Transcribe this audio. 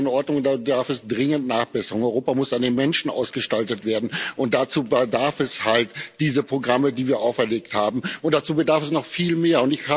Das ist nicht in Ordnung, da bedarf es dringend Nachbesserungen. Europa muss an den Menschen ausgestaltet werden, und dazu bedarf es halt dieser Programme, die wir aufgelegt haben, und dazu braucht es noch viel mehr.